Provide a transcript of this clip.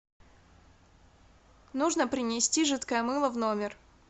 нужно принести жидкое мыло в номер